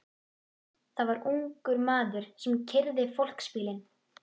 Það var ungur maður sem keyrði fólksbílinn.